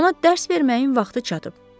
Ona dərs verməyin vaxtı çatıb.